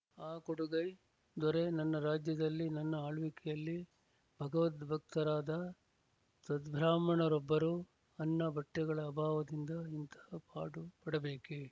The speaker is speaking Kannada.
ಆ ಕೊಡುಗೈ ದೊರೆ ನನ್ನ ರಾಜ್ಯದಲ್ಲಿ ನನ್ನ ಆಳ್ವಿಕೆಯಲ್ಲಿ ಭಗವದ್ಭಕ್ತರಾದ ಸದ್ಭ್ರಾಹ್ಮಣರೊಬ್ಬರು ಅನ್ನ ಬಟ್ಟೆಗಳ ಅಭಾವದಿಂದ ಇಂತಹ ಪಾಡು ಪಡಬೇಕೇ